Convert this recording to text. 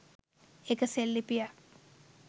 එක් සෙල්ලිපියක්